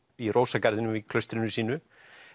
í rósagarðinum í klaustrinu sínu